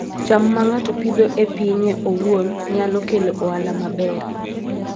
cham ma ng'ato Pidhoo e pinye owuon nyalo kelo ohala maber